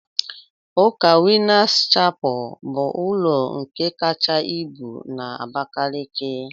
Ụka winners chapel bu ulọ nke kacha ibu na Abakaliki?